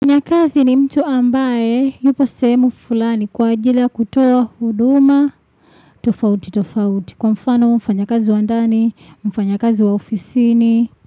Mfanyakazi ni mtu ambaye yupo sehemu fulani kwa ajili ya kutoa huduma. Tofauti, tofauti. Kwa mfano mfanyakazi wa ndani, mfanyakazi wa ofisini.